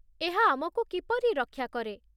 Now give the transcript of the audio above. ଏହା ଆମକୁ କିପରି ରକ୍ଷା କରେ?